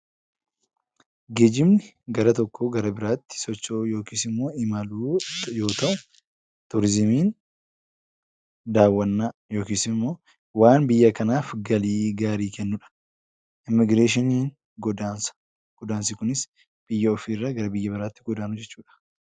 Geejjibni gara tokkoo gara biraatti socho'uu yookiis immoo imaluu yoo ta'u, turizimiin daawwannaa yookiis immoo waan biyya kanaaf galii gaarii kennudha. Immigireeshiniin immoo godaansa. Godaansi kunis biyya ofiirraa gara biyya biraatti godaanuu jechuudha.